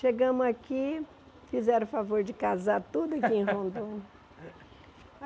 Chegamos aqui, fizeram o favor de casar tudo aqui em Rondônia.